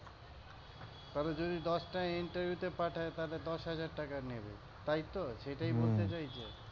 ধরো যদি দশটা interview তে পাঠায় তাহলে দশ হাজার টাকা নেবে তাই তো? সেটাই বলতে চাইছে? হম